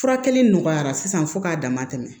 Furakɛli nɔgɔyara sisan fo k'a dama tɛmɛ